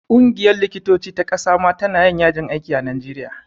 Ƙungiyar likitoci ta ƙasa ma ta na yin yajin aiki a najeriya